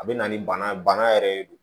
A bɛ na ni bana ye bana yɛrɛ de do